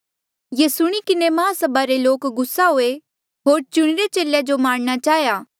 ये सुणी किन्हें महासभा रे लोका जो गुस्सा हुए होर चुणिरे चेलेया जो मारणा चाहेया